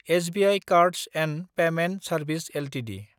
SBI cards & payment service Ltd